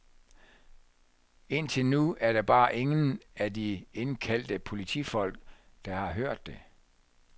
Indtil nu er der bare ingen af de indkaldte politifolk, der har hørt det.